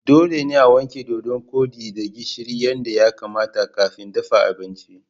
Dole ne a wanke Dodon kodi da gishiri yadda ya kamata kafin dafa abinci.